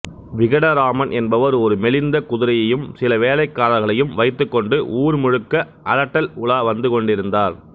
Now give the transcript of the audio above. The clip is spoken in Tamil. விகடராமன் என்பவர் ஒரு மெலிந்த குதிரையையும் சில வேலைக்காரர்களையும் வைத்துக்கொண்டு ஊர் முழுக்க அலட்டல் உலா வந்துகொண்டிருந்தார்